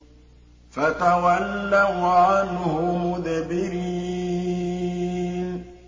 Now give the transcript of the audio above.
فَتَوَلَّوْا عَنْهُ مُدْبِرِينَ